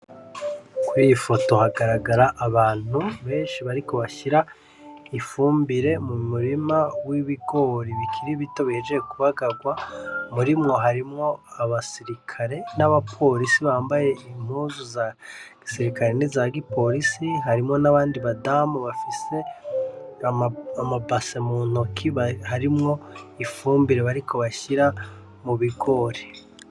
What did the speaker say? Kw'iyi foto hagaragara abantu benshi bariko bashira ifumbire mu murima w'ibigori bikiri bito bihejejwe kubagagwa , muri bo harimwo abasirikare n'abaporisi bambaye impuzu za gisirikare niza giporisi amabase mu ntoki arimwo ifumbire bariko bashira mu bigori .